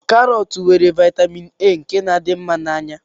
Karọt nwere vaịtamin A nke na-adị mma n'anya